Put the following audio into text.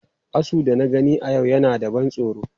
Asu da na gani a yau yana da ban tsoro.